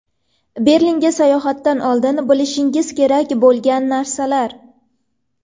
Berlinga sayohatdan oldin bilishingiz kerak bo‘lgan narsalar.